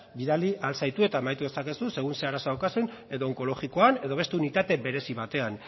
bidali al zaitu eta amaitu dezakegu segun eta ze arazo daukazu edo onkologikoan edo beste unitate berezi batean